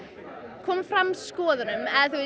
koma fram skoðunum